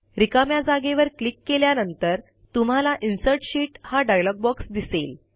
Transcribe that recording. रिकाम्या जागेवर क्लिक केल्यानंतर तुम्हाला इन्सर्ट शीट हा डायलॉग बॉक्स दिसेल